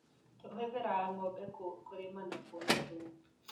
Tũhũthĩraga ngombe kũrĩma na kuona thumu.